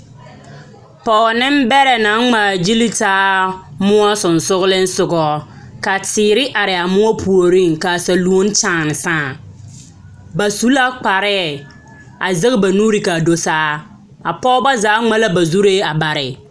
Pͻge nembԑrԑ naŋ ŋmaa gyili taa mõͻ sensogelinsogͻ. Ka teere are a mõͻ puoriŋ ka a saluoni kyaane saa. Ba su la kparԑԑ a zԑge ba nuuri ka a do saa. A pͻgebͻ zaa ŋma la ba zuri bare.